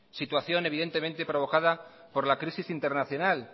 situación evidentemente provocada por la crisis internacional